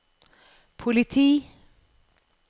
politi